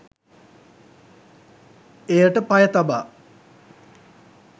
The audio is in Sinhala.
එයට පය තබා